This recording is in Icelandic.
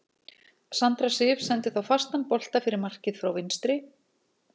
Sandra Sif sendi þá fastan bolta fyrir markið frá vinstri.